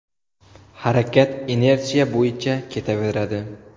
Harakat inersiya bo‘yicha ketaveradi.